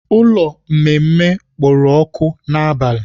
Ụlọ mmemme kpooro ọkụ n'abalị.